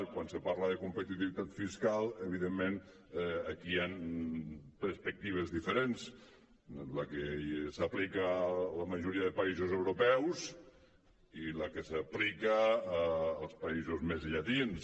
quan se parla de competitivitat fiscal evidentment aquí hi han perspectives diferents la que s’aplica a la majoria de països europeus i la que s’aplica als països més llatins